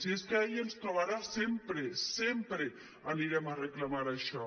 si és que ahí ens trobarà sempre sempre anirem a reclamar això